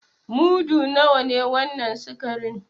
Mudu nawa ne wannan sikarin?